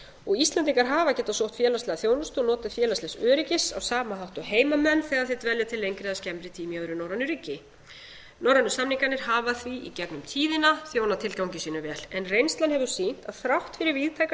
vinnu íslendingar hafa getað sótt félagslega þjónustu og notið félagslegs öryggis á sama hátt og heimamenn þegar þeir dvelja til lengri eða skemmri tíma í öðru norrænu ríki norrænu samningarnir hafa því í gegnum tíðina þjónað tilgangi sínum vel reynslan hefur sýnt að þrátt fyrir víðtæka